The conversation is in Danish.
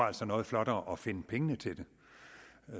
altså noget flottere at finde pengene til det